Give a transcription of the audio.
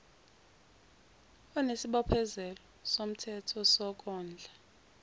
onesibophezelo somthetho sokondla